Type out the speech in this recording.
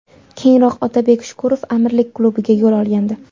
Keyinroq Otabek Shukurov Amirlik klubiga yo‘l olgandi.